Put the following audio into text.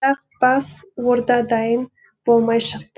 бірақ бас орда дайын болмай шықты